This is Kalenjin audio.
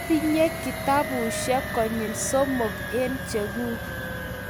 Atinye kitabushek konyil somok eng cheguk